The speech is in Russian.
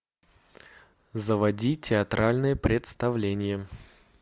заводи театральное представление